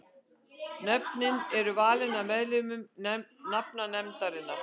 Nöfnin eru valin af meðlimum nafnanefndarinnar.